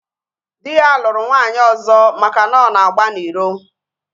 Dị ya lụrụ nwaanyị ọzọ maka na ọ na-agba n'iro